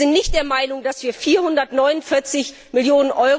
Wir sind nicht der Meinung, dass wir 449 Mio.